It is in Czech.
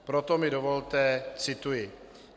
Proto mi dovolte citovat: